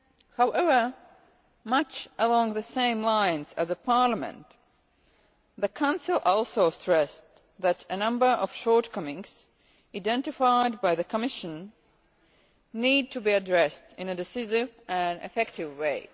However, much along the same lines as the Parliament, the Council also stressed that a number of shortcomings identified by the Commission need to be addressed in a decisive and effective way.